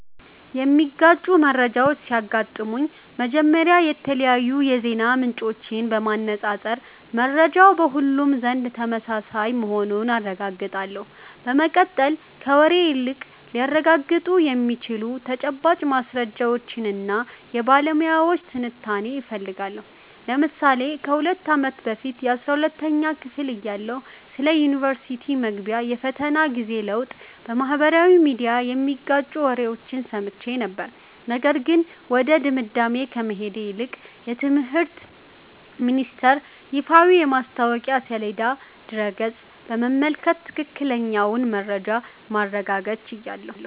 የሚጋጩ መረጃዎች ሲያጋጥሙኝ፥ መጀመሪያ የተለያዩ የዜና ምንጮችን በማነፃፀር መረጃው በሁሉም ዘንድ ተመሳሳይ መሆኑን አረጋግጣለሁ። በመቀጠል፥ ከወሬ ይልቅ ሊረጋገጡ የሚችሉ ተጨባጭ ማስረጃዎችንና የባለሙያዎችን ትንታኔ እፈልጋለሁ። ለምሳሌ ከ2 አመት በፊት 12ኛ ክፍል እያለሁ ስለ ዩኒቨርስቲ መግቢያ የፈተና ጊዜ ለውጥ በማኅበራዊ ሚዲያ የሚጋጩ ወሬዎችን ሰምቼ ነበር፤ ነገር ግን ወደ ድምዳሜ ከመሄድ ይልቅ የትምህርት ሚኒስተር ይፋዊ የማስታወቂያ ሰሌዳና ድረ-ገጽ በመመልከት ትክክለኛውን መረጃ ማረጋገጥ ችያለሁ።